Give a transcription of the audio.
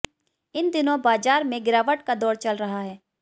इन दिनों बाजार में गिरावट का दौर चल रहा है